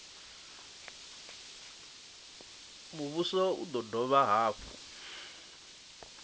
muvhuso u do dovha hafhu